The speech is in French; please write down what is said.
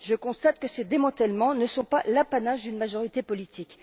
Je constate que ces démantèlements ne sont pas l'apanage d'une majorité politique.